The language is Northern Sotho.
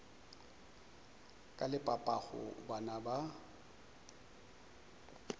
ka le papago bana ba